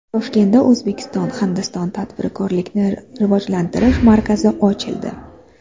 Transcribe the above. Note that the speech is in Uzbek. Toshkentda O‘zbekiston – Hindiston tadbirkorlikni rivojlantirish markazi ochildi.